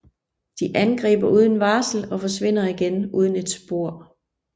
De angriber uden varsel og forsvinder igen uden et spor